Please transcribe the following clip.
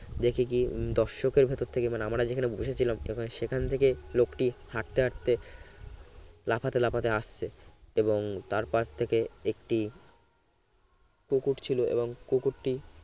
দেখি কি দর্শকের ভেতর থেকে আমরা যেখানে বসেছিলাম সেখান থেকে লোকটি হাঁটতে-হাঁটতে লাফাতে লাফাতে আসছে এবং তারপাশ থেকে একটি কুকুর ছিল এবং কুকুরটি